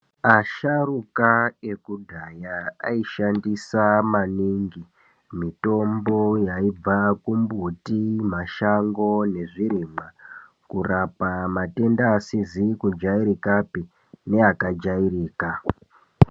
Asharuka yekudhaya aishandisa maningi mitombo yaibva kumbuti mashango nezvirimwa kurapa matenda asizi kujairikapi neakajairika.